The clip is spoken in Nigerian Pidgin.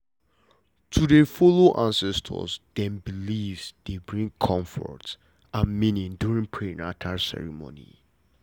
to dey follow ancestors dem beliefs dey bring comfort and meaning during prenata ceremony